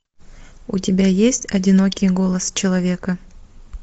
у тебя есть одинокий голос человека